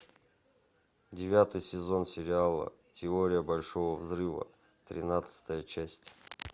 девятый сезон сериала теория большого взрыва тринадцатая часть